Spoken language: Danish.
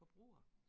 Forbruger